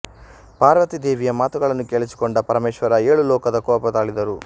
ಪಾರ್ವತಿ ದೇವಿಯ ಮಾತುಗಳನ್ನು ಕೇಳಿಸಿಕೊಂಡ ಪರಮೇಶ್ವರ ಏಳು ಲೋಕದ ಕೋಪ ತಾಳಿದರು